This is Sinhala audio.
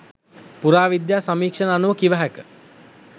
පුරාවිද්‍යා සමීක්ෂණ අනුව කිව හැක.